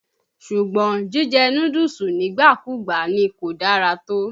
Sùgbọ́n, jíjẹ núdúùsù nígbàkùúgbà ni kò dára tó.